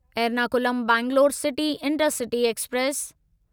Ernakulam Bangalore city intercity express